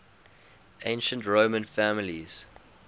ancient roman families